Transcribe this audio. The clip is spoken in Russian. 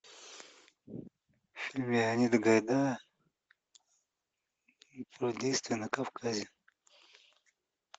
фильм леонида гайдая про действия на кавказе